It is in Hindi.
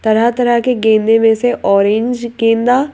तरह तरह के गेंदे में से ऑरेंज गेंदा--